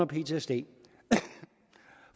ptsd